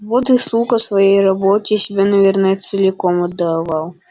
вот и слука своей работе себя наверное целиком отдавал